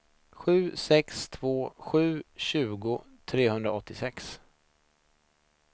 sju sex två sju tjugo trehundraåttiosex